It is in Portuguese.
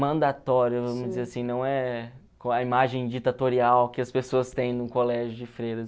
mandatório, vamos dizer assim, não é a imagem ditatorial que as pessoas têm num colégio de freiras.